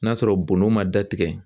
N'a sɔrɔ bondon ma da tigɛ.